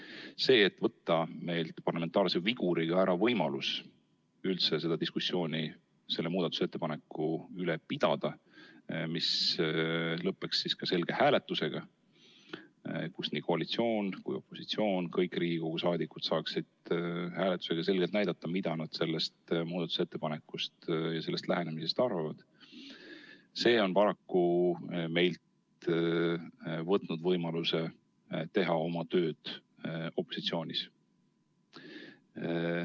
Aga see, et meilt on parlamentaarse viguriga võetud ära võimalus üldse seda diskussiooni selle muudatusettepaneku üle pidada, diskussiooni, mis lõppeks selge hääletusega, kus nii koalitsioon kui ka opositsioon, kõik Riigikogu liikmed saaksid selgelt näidata, mida nad sellest muudatusettepanekust ja sellest lähenemisest arvavad, on paraku meilt võtnud võimaluse teha oma tööd opositsioonis.